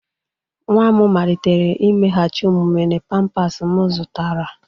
Nwa m malitere imeghachi omume na pampers m zụtara.